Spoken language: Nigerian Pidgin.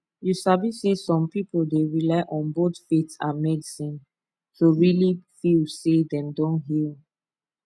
you sabi sey some people dey rely on both faith and medicine to really feel say dem don heal